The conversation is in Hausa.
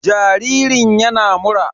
Jaririn yana mura.